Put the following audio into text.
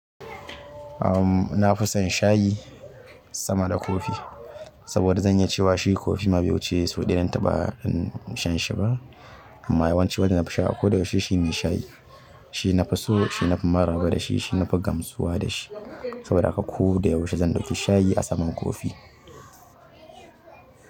Na fi san shayi sama da kofi saboda zan iya cewa shi kofi ma bai wuci sau ɗaya na taɓa shan shi ba. Amma yawanci wanda nafi sha a ko da yaushe shine shayi. Shi nafi so, shi nafi maraba da shi, shi nafi gamsuwa da shi. Saboda haka ko da yaushe zan ɗauki shayi a saman kofi.